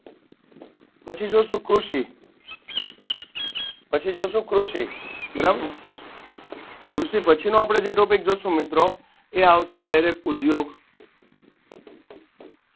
પછી જોશું કૃષિ પછી જોશું કૃષિ બરાબ કૃષિ પછીનો જી આપણે topic જોશું મિત્રો એ આવશે direct ઉધો